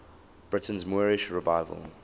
britain's moorish revival